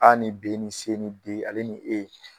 A ni B ni C ni D ale ni E